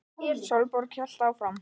Sólborg hélt áfram.